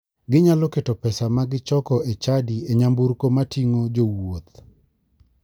Ginyalo keto pesa magichoko e chadi e nyamburko mating'o jowuoth.